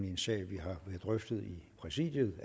en sag vi har drøftet i præsidiet